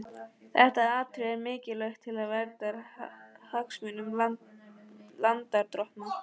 Þetta atriði er mikilvægt til verndar hagsmunum lánardrottna.